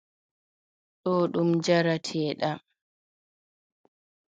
Ɗo ɗum jarateeɗam.